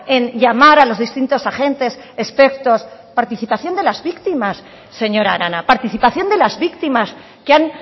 en llamar a los distintos agentes expertos participación de las víctimas señora arana participación de las víctimas que han